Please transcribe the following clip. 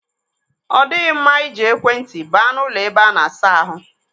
Ọ dịghị mma i ji ekwe ntị baa n'ụlọ ebe a na-asa ahụ.